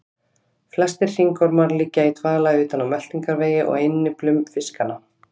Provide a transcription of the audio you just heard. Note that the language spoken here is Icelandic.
Flestir hringormar liggja í dvala utan á meltingarvegi og á innyflum fiskanna.